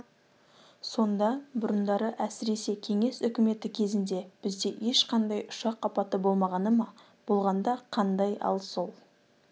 сонда бұрындары әсіресе кеңес үкіметі кезінде бізде ешқандай ұшақ апаты болмағаны ма болғанда қандай ал сол